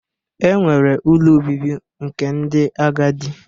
E nwere ụlọ obibi nke ndi agadi